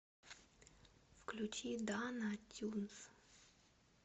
включи дана тюнс